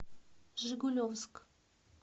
жигулевск